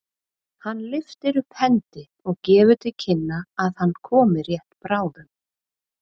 Hann lyftir upp hendi og gefur til kynna að hann komi rétt bráðum.